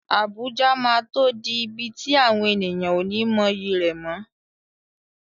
Abuja máa tó di ibi tí àwọn ènìyàn ó ní mọyì rẹ̀ mọ́.